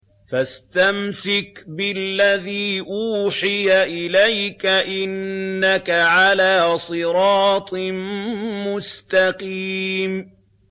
فَاسْتَمْسِكْ بِالَّذِي أُوحِيَ إِلَيْكَ ۖ إِنَّكَ عَلَىٰ صِرَاطٍ مُّسْتَقِيمٍ